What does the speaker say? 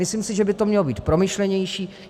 Myslím si, že by to mělo být promyšlenější.